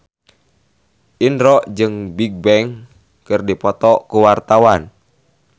Indro jeung Bigbang keur dipoto ku wartawan